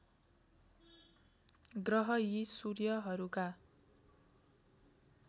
ग्रह यी सूर्यहरूका